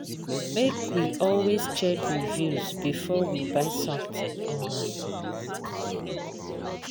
Make we always check reviews before we buy something online.